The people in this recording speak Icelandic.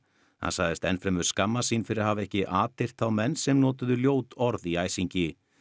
hann sagðist enn fremur skammast sín fyrir að hafa ekki atyrt þá menn sem notuðu ljót orð í æsingi